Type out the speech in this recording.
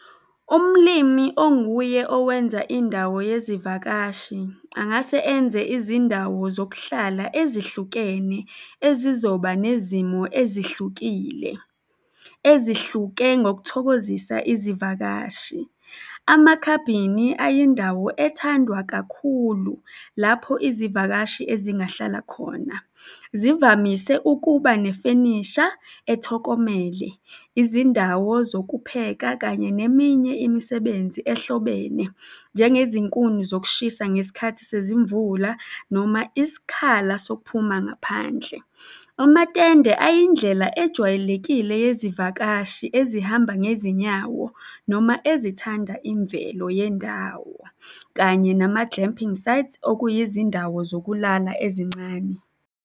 Umlimi onguye owenza indawo yezivakashi, angase enze izindawo zokuhlala ezihlukene ezizoba nezimo ezihlukile, ezihluke ngokuthokozisa izivakashi. Amakhabhini ayindawo ethandwa kakhulu lapho izivakashi ezingahlala khona, zivamise ukuba nefenisha ethokomele, izindawo zokupheka kanye neminye imisebenzi ehlobene njengezinkuni zokushisa ngesikhathi sezimvula noma isikhala sokuphuma ngaphandle. Amatende ayindlela ejwayelekile yezivakashi ezihamba ngezinyawo noma ezithanda imvelo yendawo kanye nama-glamping sites, okuyizindawo zokulala ezincane.